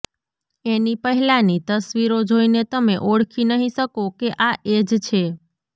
એની પહેલા ની તસ્વીરો જોઇને તમે ઓળખી નહિ શકો કે આ એ જ છે